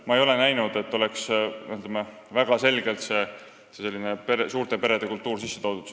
Ma ei ole näinud, et sinna oleks väga selgelt seda suurte perede kultuuri sisse toodud.